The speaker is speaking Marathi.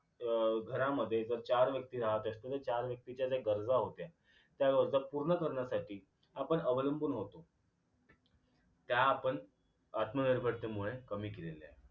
अं घरामध्ये जर चार व्यक्ती राहत असतील तर चार व्यक्तीच्या ज्या गरज होत्या त्या गरजा पूर्ण करण्यासाठी आपण अवलंबून होतो त्या आपण आत्मनिर्भरतेमुळे कमी केलेल्या आहेत